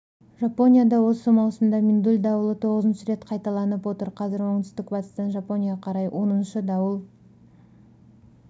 жапонияда осы маусымда миндуль дауылы тоғызыншы рет қайталанып отыр қазір оңтүстік батыстан жапонияға қарай оныншы дауыл